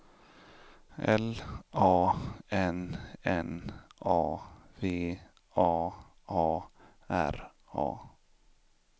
L A N N A V A A R A